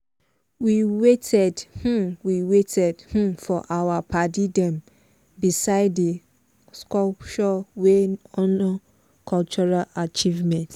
we waited um we waited um for our padi them beside di sculpture wey honor cultural achievement.